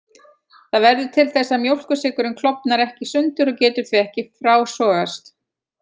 Það verður til þess að mjólkursykurinn klofnar ekki í sundur og getur því ekki frásogast.